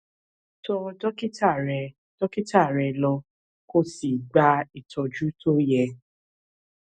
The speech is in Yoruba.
tọ dókítà rẹ dókítà rẹ lọ kó o sì gba ìtọjú tó yẹ